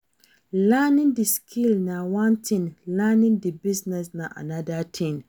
Learning di skill na one thing, learning di business na another thing